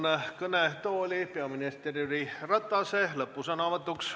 Palun kõnetooli peaminister Jüri Ratase lõppsõnavõtuks.